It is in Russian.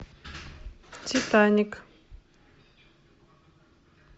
титаник